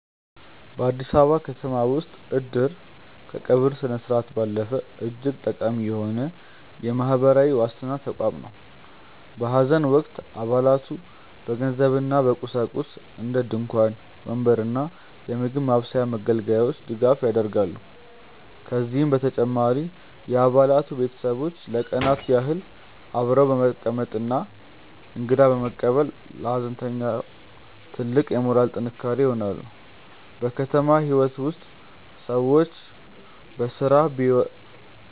በአዲስ አበባ ከተማ ውስጥ "እድር" ከቀብር ስነስርዓት ባለፈ እጅግ ጠቃሚ የሆነ የማህበራዊ ዋስትና ተቋም ነው። በሐዘን ወቅት አባላቱ በገንዘብና በቁሳቁስ (እንደ ድንኳን፣ ወንበር እና የምግብ ማብሰያ መገልገያዎች) ድጋፍ ያደርጋሉ። ከዚህም በተጨማሪ የአባላቱ ቤተሰቦች ለቀናት ያህል አብረው በመቀመጥና እንግዳ በመቀበል ለሐዘንተኛው ትልቅ የሞራል ጥንካሬ ይሆናሉ። በከተማ ህይወት ውስጥ ሰዎች በስራ